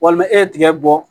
Walima e ye tigɛ bɔ